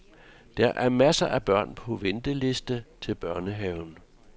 Der er masser af børn på venteliste til børnehaven.